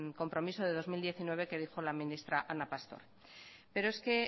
compromiso de dos mil diecinueve que dijo la ministra ana pastor pero es que